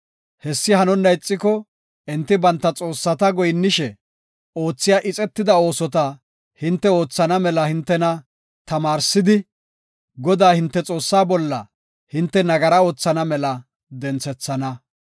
Hessi hanonna ixiko, enti banta xoossata goyinnishe oothiya ixetida oosota hinte oothana mela hintena tamaarsidi, Godaa hinte Xoossaa bolla hinte nagara oothana mela denthethana.